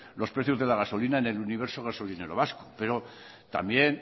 los precios de la gasolina en el universo gasolinero vasco pero también